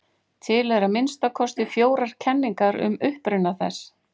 Til eru að minnsta kosti fjórar kenningar um uppruna þess.